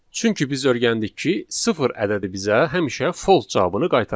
Çünki biz öyrəndik ki, sıfır ədədi bizə həmişə false cavabını qaytaracaq.